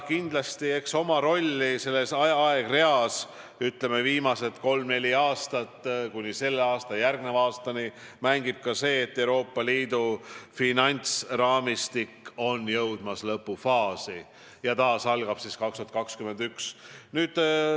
Kindlasti, eks oma rolli selles aegreas, viimased kolm-neli aastat kuni selle ja järgneva aastani mängib ka see, et Euroopa Liidu finantsraamistik on jõudmas lõppfaasi ja algab taas aastal 2021.